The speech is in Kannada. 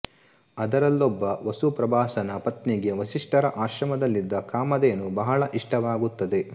ಅದರಲ್ಲೊಬ್ಬ ವಸು ಪ್ರಭಾಸನ ಪತ್ನಿಗೆ ವಸಿಷ್ಠರ ಆಶ್ರಮದಲ್ಲಿದ್ದ ಕಾಮಧೇನು ಬಹಳ ಇಷ್ಟವಾಗುತ್ತದೆ